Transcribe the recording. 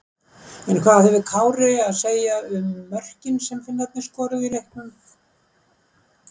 En hvað hefur Kári að segja um mörkin sem Finnarnir skoruðu í leiknum?